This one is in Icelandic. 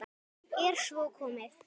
Er svo komið?